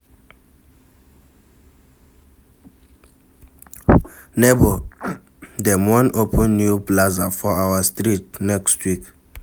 Nebor, dem wan open new plaza for our street next week.